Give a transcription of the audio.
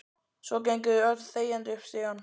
Svo gengu þau öll þegjandi upp stigann.